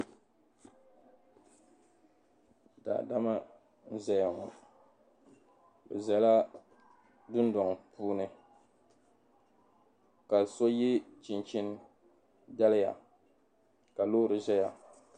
Daadama n-zaya ŋɔ be zala dundɔŋ puuni ka so ye chinchini daliya ka loori zaya.